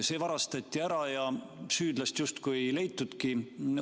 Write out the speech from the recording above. See varastati ära ja süüdlast justkui ei leitudki.